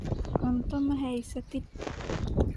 Cunto ma haysatid?